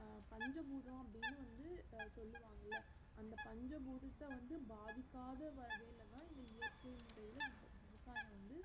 அஹ் பஞ்ச பூதம் அப்புடின்னு வந்து சொல்லுவாங்கள அந்த பஞ்ச பூதத்த வந்து பாதிக்காத வகைல தான் இந்த இயற்கை முறைல விவ~ விவசாயம் வந்து